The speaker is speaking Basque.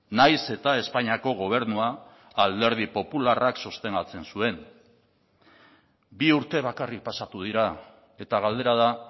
nahiz eta espainiako gobernua alderdi popularrak sostengatzen zuen bi urte bakarrik pasatu dira eta galdera da